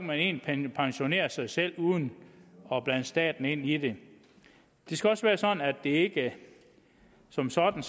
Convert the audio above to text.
man egentlig pensionere sig selv uden at blande staten ind i det det skal også være sådan at det ikke som sådan